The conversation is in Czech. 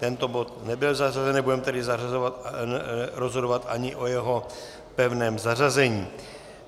Tento bod nebyl zařazen, nebudeme tedy rozhodovat ani o jeho pevném zařazení.